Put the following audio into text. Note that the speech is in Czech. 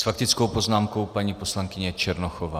S faktickou poznámkou paní poslankyně Černochová.